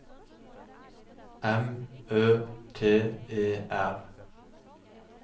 M Ø T E R